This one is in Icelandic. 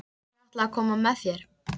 Ég ætla að koma með þér!